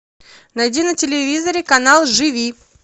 найди на телевизоре канал живи